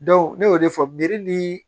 ne y'o de fɔ bere ni